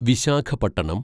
Visakhapatnam